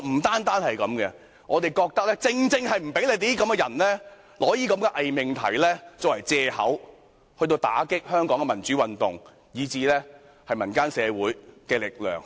但不單如此，我們還覺得不要讓你們借用這些偽命題，打擊香港的民主運動和民間社會的力量。